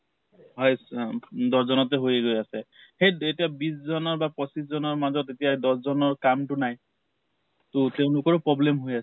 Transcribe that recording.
উম দহ জনতে হৈ গৈ আছে । সেই এতিয়া বিছ জনৰ বা পঁচিছ জনৰ মাজত এতিয়া দহ জনৰ কাম তো নাই । তʼ তেওঁলোকৰো problem হৈ আছে ।